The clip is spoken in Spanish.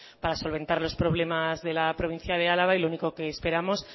para solventar los problemas de la provincia de álava y lo único que esperamos